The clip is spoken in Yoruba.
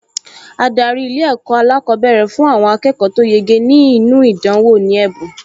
Adarí Ilé-ẹ̀kọ́ alákọ̀ọ́bẹ̀rẹ̀ fún àwọn akẹ́kọ̀ọ tó yege nínú ìdánwò ní ẹ̀bùn